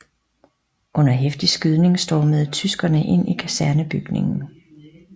Under heftig skydning stormede tyskerne ind i kasernebygningen